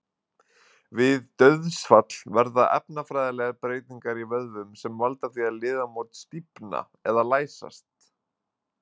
Við dauðsfall verða efnafræðilegar breytingar í vöðvum sem valda því að liðamót stífna eða læsast.